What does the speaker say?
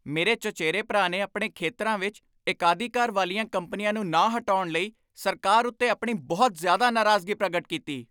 ਮੇਰੇ ਚਚੇਰੇ ਭਰਾ ਨੇ ਆਪਣੇ ਖੇਤਰਾਂ ਵਿੱਚ ਏਕਾਧਿਕਾਰ ਵਾਲੀਆਂ ਕੰਪਨੀਆਂ ਨੂੰ ਨਾ ਹਟਾਉਣ ਲਈ ਸਰਕਾਰ ਉੱਤੇ ਆਪਣੀ ਬਹੁਤ ਜ਼ਿਆਦਾ ਨਾਰਾਜ਼ਗੀ ਪ੍ਰਗਟ ਕੀਤੀ।